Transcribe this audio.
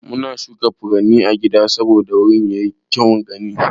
Muna shuka furanni a gida saboda wuri yayi kyaun gani.